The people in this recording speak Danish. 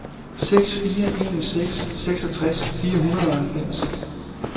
seks fire en seks seksogtres fire hundrede og halvfems